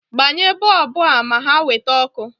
Gbanye boobu a ma ha nweta ọkụ